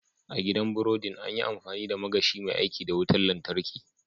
A gidan biridin, an yi amfani da magashi mai aiki da wutar lantarki.